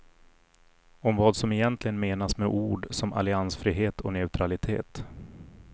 Om vad som egentligen menas med ord som alliansfrihet och neutralitet.